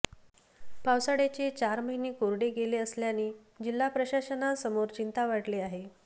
पावसाळ्याचे चार महीने कोरडे गेले असल्याने जिल्हा प्रशासनासमोरील चिंता वाढली आहे